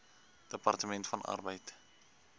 departement van arbeid